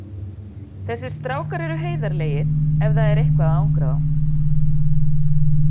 Þessir strákar eru heiðarlegir ef það er eitthvað að angra þá.